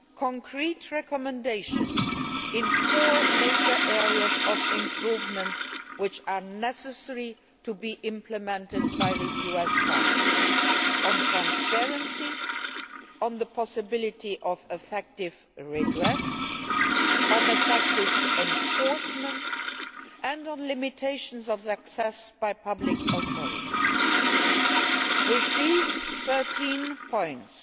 concrete recommendations in four major areas of improvement which are necessary to be implemented by the US side on transparency, on the possibility of effective redress, on effective enforcement and on limitations to access by public authorities. With these 13 points,